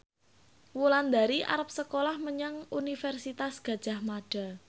Wulandari arep sekolah menyang Universitas Gadjah Mada